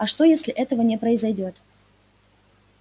а что если этого не произойдёт